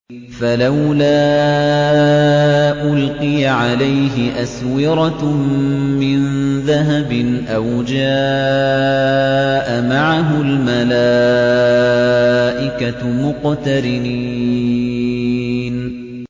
فَلَوْلَا أُلْقِيَ عَلَيْهِ أَسْوِرَةٌ مِّن ذَهَبٍ أَوْ جَاءَ مَعَهُ الْمَلَائِكَةُ مُقْتَرِنِينَ